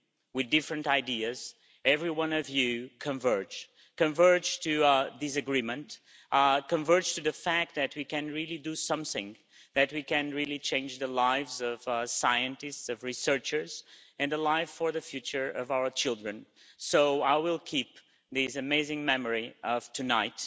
with different ideas, every one of you converged, converged to this agreement, converged to the fact that we can really do something, that we can really change the lives of scientists, of researchers and the lives for the future of our children, so I will keep this amazing memory of tonight.